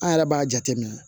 An yɛrɛ b'a jateminɛ